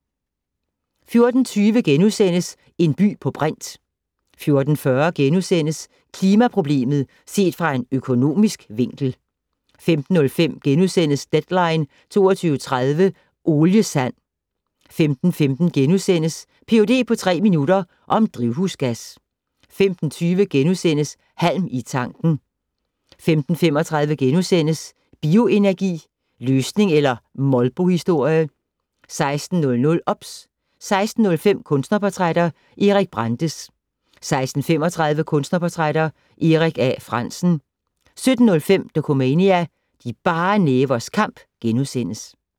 14:20: En by på brint * 14:40: Klimaproblemet set fra en økonomisk vinkel * 15:05: Deadline 22.30 - Oliesand * 15:15: Ph.d. på tre minutter - om drivhusgas * 15:20: Halm i tanken * 15:35: Bioenergi - løsning eller molbohistorie? * 16:00: OBS 16:05: Kunstnerportrætter - Peter Brandes 16:35: Kunstnerportrætter - Erik A. Frandsen 17:05: Dokumania: De bare nævers kamp *